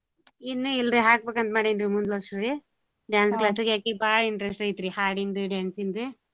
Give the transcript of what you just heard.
ಇನ್ನೂ ಇಲ್ ರೀ ಹಾಕ್ಬೇಕಂತ್ ಮಾಡೇನ್ರಿ ಮುಂದ್ ವರ್ಷ್ ರೀ dance class ಗ್ ಅಕಿಗ್ ಬಾಳ್ interest ಐತ್ರಿ ಹಾಡಿಂದು dance ನ್ದು.